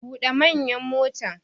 Bude manyan motan!